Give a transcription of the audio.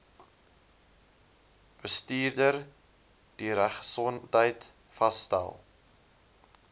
bestuurder dieregesondheid vasstel